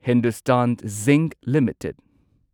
Hindustan Zinc limited